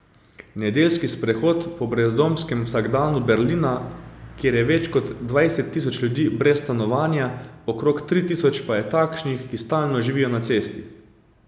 Nedeljski sprehod po brezdomskem vsakdanu Berlina, kjer je več kot dvajset tisoč ljudi brez stanovanja, okrog tri tisoč pa je takšnih, ki stalno živijo na cesti.